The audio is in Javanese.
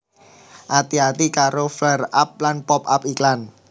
Ati ati karo flareup lan pop up iklan